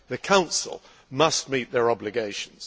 The Council must meet its obligations.